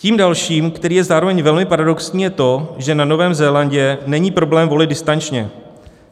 Tím dalším, který je zároveň velmi paradoxní, je to, že na Novém Zélandu není problém volit distančně.